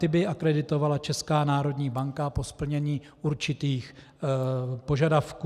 Ty by akreditovala Česká národní banka po splnění určitých požadavků.